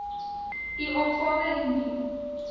u opgawe indien